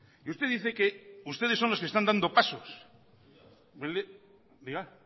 y usted dice que ustedes son los que están dando pasos diga